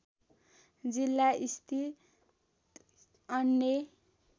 जिल्ला स्थित अन्य